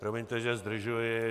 Promiňte, že zdržuji.